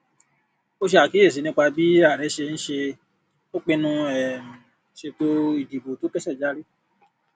ó ṣe àkíyèsí nípa bí ààrẹ ṣe ń ṣe ó pinnu um ṣètò ìdìbò tó kẹsẹ járí